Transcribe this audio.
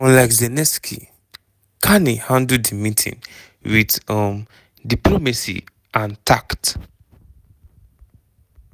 unlike zelensky carney handle di meeting with um diplomacy and tact.